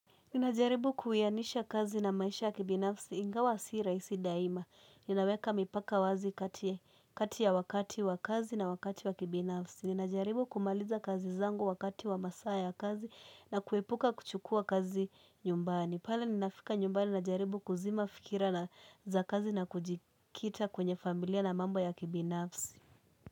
Ninajaribu kuwianisha kazi na maisha ya kibinafsi ingawa si rahisi daima. Ninaweka mipaka wazi kati ya kati ya wakati wa kazi na wakati wa kibinafsi. Ninajaribu kumaliza kazi zangu wakati wa masaa ya kazi na kuepuka kuchukua kazi nyumbani. Pale ninafika nyumbani najaribu kuzima fikira za kazi na kujikita kwenye familia na mambo ya kibinafsi.